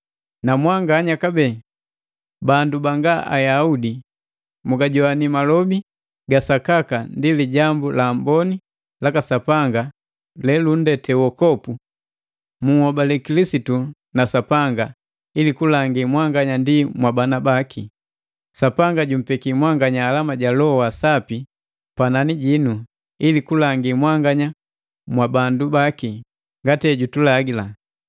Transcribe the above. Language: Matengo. Namwanganya kabee bandu banga Ayaudi, mugajoani malobi ga sakaka ndi Lijambu la Amboni laka Sapanga lelundete wokovu, munhobali Kilisitu na Sapanga, ili kulangi mwanganya ndi mwabandu baki, Sapanga jummbeki mwanganya alama ja Loho wa Sapi panani jinu ili kulangi mwanganya mwa bandu baki ngati ejutulagila.